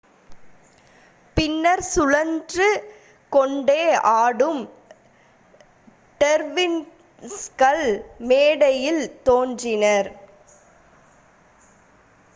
பின்னர் சுழன்று கொண்டே ஆடும் டெர்விஸ்கள் மேடையில் தோன்றினர்